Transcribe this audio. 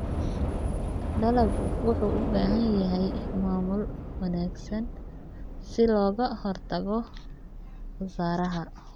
Dalaggu wuxuu u baahan yahay maamul wanaagsan si looga hortago khasaaraha.